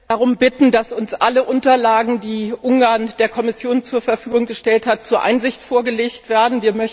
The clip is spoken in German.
Ich möchte darum bitten, dass uns alle Unterlagen, die Ungarn der Kommission zur Verfügung gestellt hat, zur Einsicht vorgelegt werden.